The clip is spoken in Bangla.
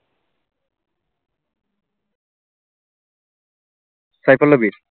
phycoloby এর